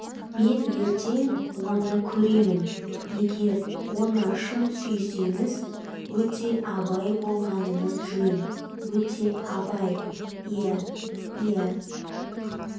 мен ертең оны көремін егер оны шын сүйсеңіз өте абай болғаныңыз жөн өте абай иә иә